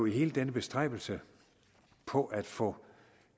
i hele denne bestræbelse på at få